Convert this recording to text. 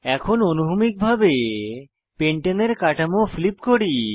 এখন অনুভূমিকভাবে পেন্টানে এর কাঠামো ফ্লিপ করি